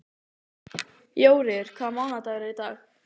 Jóríður, hvaða mánaðardagur er í dag?